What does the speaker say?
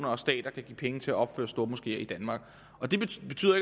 og stater kan give penge til at opføre stormoskeer i danmark det betyder